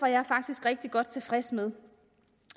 jeg faktisk rigtig godt tilfreds med